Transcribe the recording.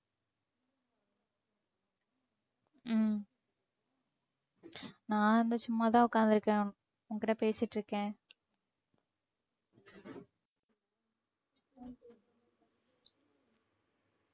உம் நான் வந்து சும்மாதான் உட்கார்ந்து இருக்கேன். உன்கிட்ட பேசிட்டு இருக்கேன்